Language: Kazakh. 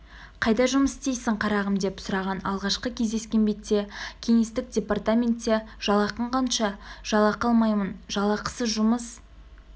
қайда жұмыс істейсің қарағым деп сұраған алғашқы кездескен бетте кеңестік департаментте жалақың қанша жалақы алмаймын жалақысыз жұмыс